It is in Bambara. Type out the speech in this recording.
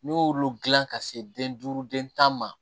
N'i y'olu dilan ka se den duuru den tan ma